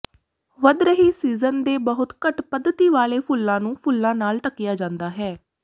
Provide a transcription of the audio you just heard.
ਵਧ ਰਹੀ ਸੀਜ਼ਨ ਦੇ ਬਹੁਤ ਘੱਟ ਪੱਧਤੀ ਵਾਲੇ ਫੁੱਲਾਂ ਨੂੰ ਫੁੱਲਾਂ ਨਾਲ ਢੱਕਿਆ ਜਾਂਦਾ ਹੈ